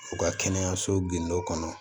U ka kɛnɛyaso gindo kɔnɔ